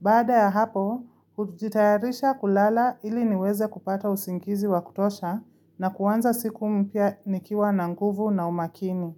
Baada ya hapo, hujitayarisha kulala ili niweze kupata usingizi wa kutosha na kuanza siku mpya nikiwa na nguvu na umakini.